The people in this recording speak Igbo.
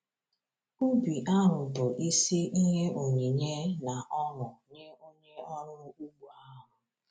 Ubi ahụ bụ isi ihe onyinye na ọṅụ nye onye ọrụ ugbo ahụ.